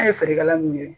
An ye feerekɛla mun ye